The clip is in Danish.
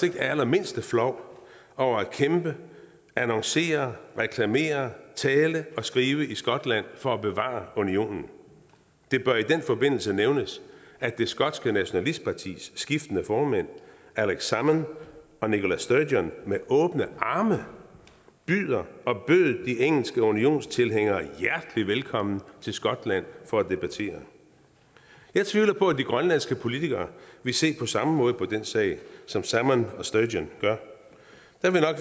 det allermindste flov over at kæmpe annoncere reklamere tale og skrive i skotland for at bevare unionen det bør i den forbindelse nævnes at det skotske nationalistpartis skiftende formænd alex salmond og nicola sturgeon med åbne arme byder og bød de engelske unionstilhængere hjertelig velkommen til skotland for at debattere jeg tvivler på at de grønlandske politikere ville se på samme måde på den sag som salmond og sturgeon gør